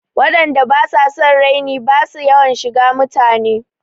Waɗan da basu son raini basu yawan shiga mutane.